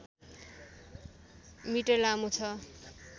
metre लामो छ